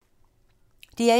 DR1